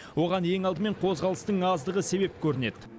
оған ең алдымен қозғалыстың аздығы себеп көрінеді